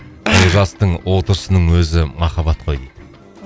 олжастың отырысының өзі махаббат қой дейді